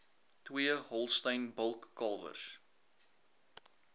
twee holstein bulkalwers